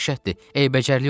Ey bəcərlik olardı.